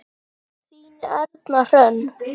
Þín Erna Hrönn.